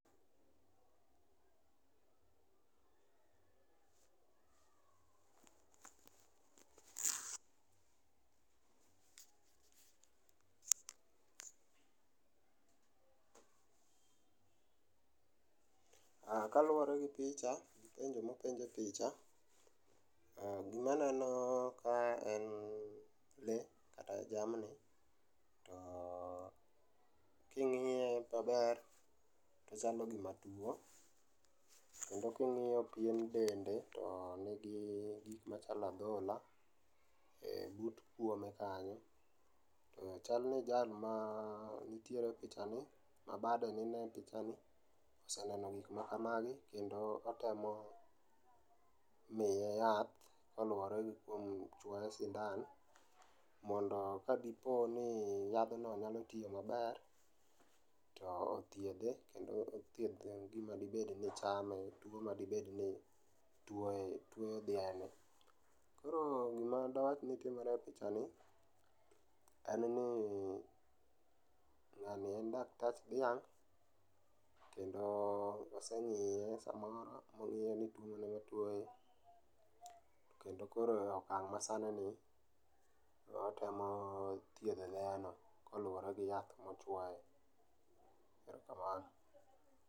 Kaluore gi picha gi penjo mopenj e picha, gima aneno ka en lee kata jamni to king'iye maber tochalo gima tuo kendo king'iyo pien dende to nigi gik machalo adhola e but kuome kanyo. Chalni jal ma nitiere e pichani, ma bade neno e pichani oseneno gik makamagi kendo otemo miye yath kaluore gi kuom chuoye sindan mondo kadiponi yadhno nyalo tiyo maber to othiedhe kendo othiedh gima diibed ni chame, tuo madibedni tuoye, tuo dhiang'. Koro gima dawachni timore e pichani en ni ng'ani en daktach dhiang' kendo oseng'iye sama ong'iyoni ang'o matuoye kendo koro e okang' masani ni to watemo thiedho dhiang'no kaluore gi yath ma chuoye, erokamano